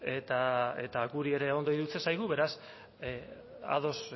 eta guri ere ondo iruditzen zaigu beraz ados